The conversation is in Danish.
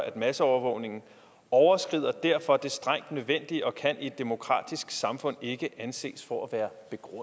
at masseovervågningen overskrider derfor det strengt nødvendige og kan i et demokratisk samfund ikke anses for at være